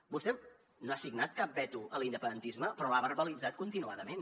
vostè no ha signat cap veto a l’independentisme però l’ha verbalitzat continuadament